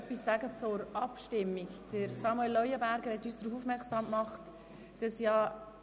Es hat einen Hinweis von Grossrat Leuenberger zur Abstimmung gegeben.